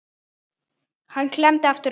Hann klemmdi aftur augun